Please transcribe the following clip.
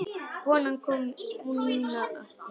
Konan kom nú aftur inn.